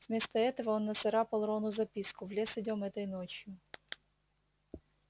вместо этого он нацарапал рону записку в лес идём этой ночью